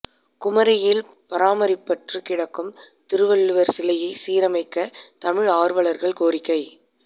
குமரியில் பராமரிப்பற்று கிடக்கும் திருவள்ளுவர் சிலையை சீரமைக்க தமிழ் ஆர்வலர்கள் கோரிக்கை